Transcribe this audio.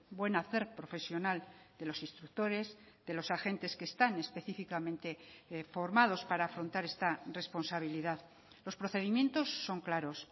buen hacer profesional de los instructores de los agentes que están específicamente formados para afrontar esta responsabilidad los procedimientos son claros